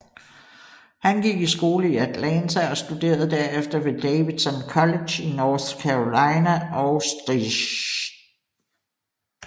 Han gik i skole i Atlanta og studerede derefter ved Davidson College i North Carolina og St